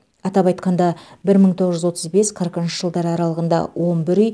атап айтқанда бір мың тоғыз жүз отыз бес қырықыншы жылдары аралығында он бір үй